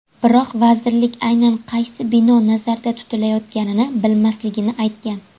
Biroq vazirlik aynan qaysi bino nazarda tutilayotganini bilmasligini aytgan.